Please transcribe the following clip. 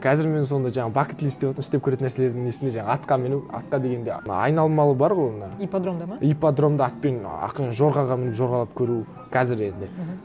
қазір мен сондай жаңа істеп көретін нәрселердің несіне жаңа атқа міну атқа дегенде ана айналмалы бар ғой мына ипподромда ма ипподромда атпен ақырын жорғаға мініп жорғалап көру қазір енді мхм